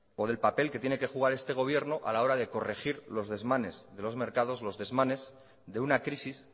papel que tiene que jugar este gobierno a la hora de corregir los desmanes de los mercados los desmanes de una crisis